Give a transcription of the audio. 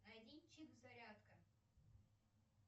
найди чип зарядка